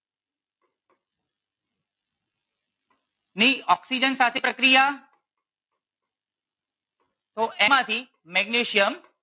ની ઓક્સિજન સાથે પ્રક્રિયા તો એમાંથી મેગ્નેશિયમ